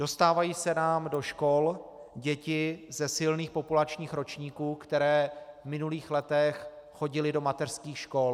Dostávají se nám do škol děti ze silných populačních ročníků, které v minulých letech chodily do mateřských škol.